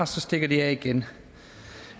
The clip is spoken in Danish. så stikker de af igen